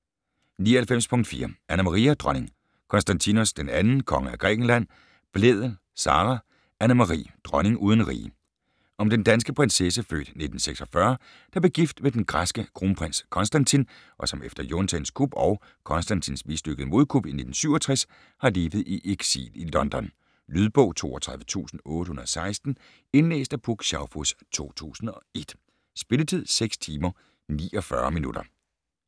99.4 Anna-Maria: dronning, Konstantinos II, konge af Grækenland Blædel, Sara: Anne-Marie: dronning uden rige Om den danske prinsesse (f. 1946) der blev gift med den græske kronprins Konstantin, og som efter juntaens kup og Konstantins mislykkede modkup i 1967 har levet i eksil i London. Lydbog 32816 Indlæst af Puk Schaufuss, 2001. Spilletid: 6 timer, 49 minutter.